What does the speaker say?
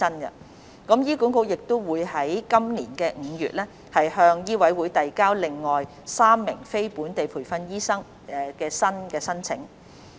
此外，醫管局亦於今年5月向醫委會遞交了另外3名非本地培訓醫生的新申請。